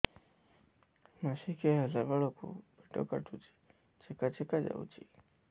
ମାସିକିଆ ହେଲା ବେଳକୁ ପେଟ କାଟୁଚି ଚେକା ଚେକା ଯାଉଚି